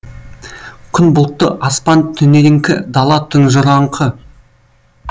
күн бұлтты аспан түнеріңкі дала тұнжыраңқы